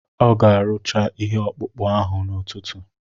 Ọ ga-arụcha ihe ọkpụkpụ ahụ n'ụtụtụ